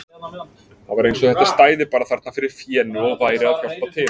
Það var eins og þetta stæði bara þarna fyrir fénu og væri að hjálpa til!